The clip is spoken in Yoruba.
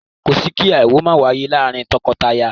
Kò sí kí aáwọ̀ máa wáyé láàárín tọkọtaya